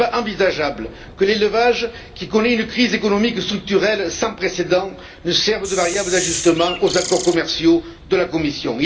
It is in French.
Il n'est pas envisageable que l'élevage, qui connaît une crise économique structurelle sans précédent, serve de variable d'ajustement aux accords commerciaux de la Commission.